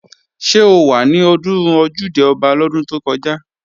Ṣé o wà ní ọdún Ojúde-Ọba lọ́dún tó kọjá?